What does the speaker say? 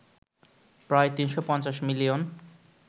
প্রায় ৩৫০ মিলিয়ন